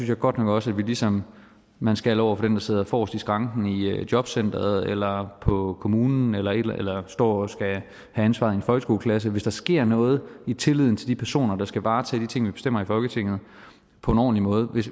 jeg godt nok også at vi ligesom man skal over for dem der sidder forrest i skranken i jobcenteret eller på kommunen eller eller står og skal have ansvar i en folkeskoleklasse hvis der sker noget med tilliden hos de personer der skal varetage de ting vi bestemmer i folketinget på en ordentlig måde og hvis